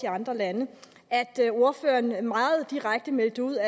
andre lande at ordføreren meget direkte meldte ud